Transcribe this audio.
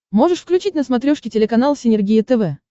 можешь включить на смотрешке телеканал синергия тв